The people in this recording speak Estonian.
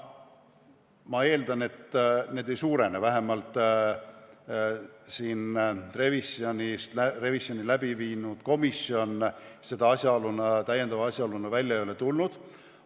Ma eeldan, et need ei suurene, vähemalt siin revisjoni teinud komisjon ei ole seda täiendava asjaoluna esile toonud.